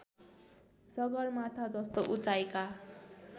सगरमाथा जस्तो उचाइका